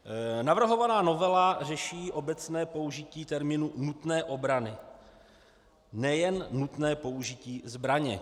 Navrhovaná novela řeší obecné použití termínu nutné obrany, nejen nutné použití zbraně.